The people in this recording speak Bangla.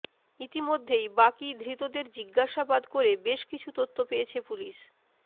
ইতিমধ্যেই বাকি ধৃতদের জিজ্ঞাসাবাদ করে বেশ কিছু তথ্য পেয়েছে পুলিস